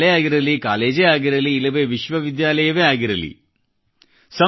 ಅದು ಸ್ಕೂಲೇ ಆಗಿರಲಿ ಕಾಲೇಜೇ ಆಗಿರಲಿ ಇಲ್ಲವೆ ವಿಶ್ವವಿದ್ಯಾಲಯವೇ ಆಗಿರಲಿ